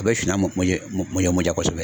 A bɛ suma suma mɔn ja kosɛbɛ.